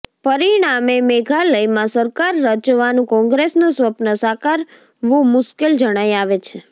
પરિણામે મેઘાલયમાં સરકાર રચવાનું કોંગ્રેસનું સ્વપ્ન સાકાર વું મુશ્કેલ જણાય આવે છે